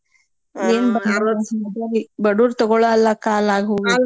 ಬಡುವ್ರ್ ತಗೋಳಲ್ಲ ಕಾಲ ಆಗ್ ಹೋಗೇತ್ರಿ